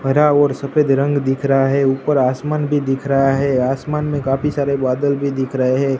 हरा और सफेद रंग दिख रहा है ऊपर आसमान भी दिख रहा है आसमान में काफी सारे बादल भी दिख रहे।